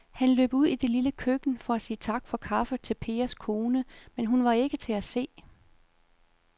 Han løb ud i det lille køkken for at sige tak for kaffe til Pers kone, men hun var ikke til at se.